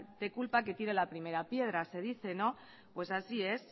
de culpa que tira la primera piedra se dice pues así es